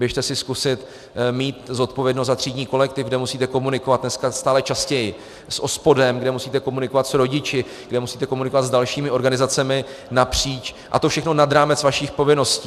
Běžte si zkusit mít zodpovědnost za třídní kolektiv, kde musíte komunikovat dneska stále častěji s OSPODem, kde musíte komunikovat s rodiči, kde musíte komunikovat s dalšími organizacemi napříč, a to všechno nad rámec vašich povinností.